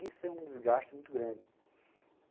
Isso é um desgaste muito grande.